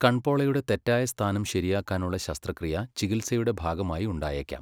കൺപോളയുടെ തെറ്റായ സ്ഥാനം ശരിയാക്കാനുള്ള ശസ്ത്രക്രിയ ചികിൽസയുടെ ഭാഗമായി ഉണ്ടായേക്കാം.